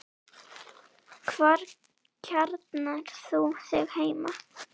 Hvar kjarnar þú þig heima?